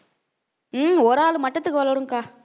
ஹம் ஒரு ஆளு மட்டத்துக்கு வளரும்க்கா